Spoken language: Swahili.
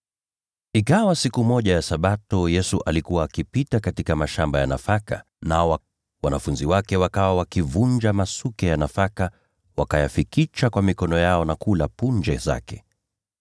Ikawa siku moja ya Sabato Yesu alikuwa akipita katika mashamba ya nafaka, nao wanafunzi wake wakaanza kuvunja masuke ya nafaka, wakayafikicha kwa mikono yao na kula punje zake.